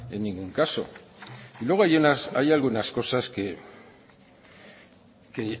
en ningún caso luego hay algunas cosas que